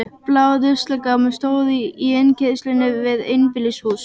Blár ruslagámur stóð í innkeyrslunni við einbýlishús